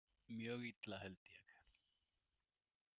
Mjög illa, held ég.